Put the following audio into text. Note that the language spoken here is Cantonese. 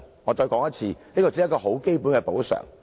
我再說一次，這只是一項很基本的補償。